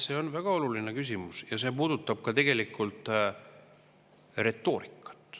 See on väga oluline küsimus ja see puudutab tegelikult ka retoorikat.